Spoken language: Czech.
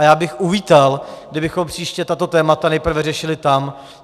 A já bych uvítal, kdybychom příště tato témata nejprve řešili tam.